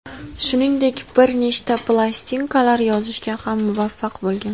Shuningdek, bir nechta plastinkalar yozishga ham muvaffaq bo‘lgan.